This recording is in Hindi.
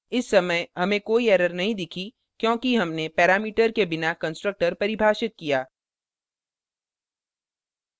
इस समय हमें कोई error नहीं दिखी क्योंकि हमने parameter के बिना constructor परिभाषित किया